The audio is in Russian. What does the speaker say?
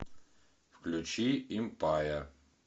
включи импая